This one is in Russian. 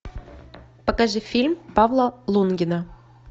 покажи фильм павла лунгина